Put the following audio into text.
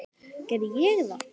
Gerði ég það?